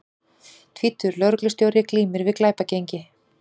Tvítugur lögreglustjóri glímir við glæpagengi